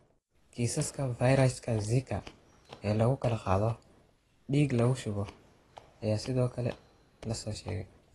Kiisaska fayraska Zika ee lagu kala qaado dhiig lagu shubo ayaa sidoo kale la soo sheegay.